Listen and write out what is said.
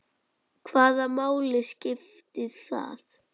Hvaða máli skipti það?